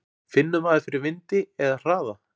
Finnur maður fyrir vindi eða hraða?